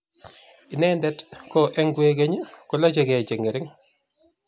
Inendet ko eng kwekeny kolachekei chengering